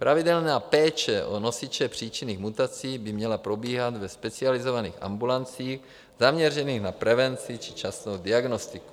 Pravidelná péče o nosiče příčinných mutací by měla probíhat ve specializovaných ambulancích zaměřených na prevenci či včasnou diagnostiku.